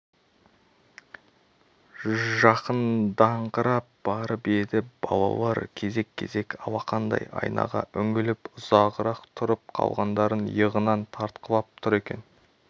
жақындаңқырап барып еді балалар кезек-кезек алақандай айнаға үңіліп ұзағырақ тұрып қалғандарын иығынан тартқылап тұр екен